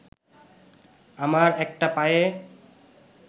আমার একটা পায়ে